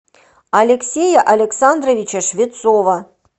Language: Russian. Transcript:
алексея александровича швецова